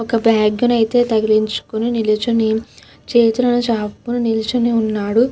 ఒక అబ్బాయి అయతె తల దించుకొని నిలుచొని అయతె చైనా చిన్న చాపల్లు నిలుచొని వున్నాడు.